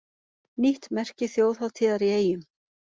Nýtt merki þjóðhátíðar í Eyjum